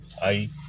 Ayi